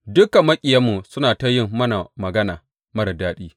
Dukan maƙiyanmu suna ta yin mana magana marar daɗi.